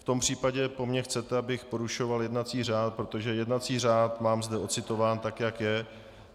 V tom případě po mně chcete, abych porušoval jednací řád, protože jednací řád mám zde ocitován tak, jak je.